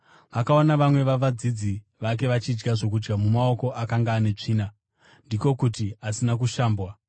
vakaona vamwe vavadzidzi vake vachidya zvokudya namaoko akanga ane “tsvina,” ndiko kuti, asina kushambwa.